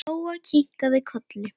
Lóa kinkaði kolli.